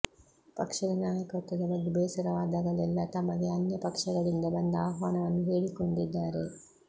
ಪಕ್ಷದ ನಾಯಕತ್ವದ ಬಗ್ಗೆ ಬೇಸರವಾದಾಗಲೆಲ್ಲಾ ತಮಗೆ ಅನ್ಯ ಪಕ್ಷಗಳಿಂದ ಬಂದ ಆಹ್ವಾನವನ್ನು ಹೇಳಿಕೊಂಡಿದ್ದಾರೆ